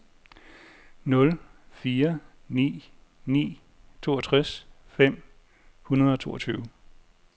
nul fire ni ni toogtres fem hundrede og toogtyve